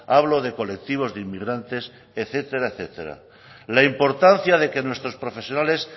hablo de colectivos de inmigrantes etcétera etcétera la importancia de que nuestros profesionales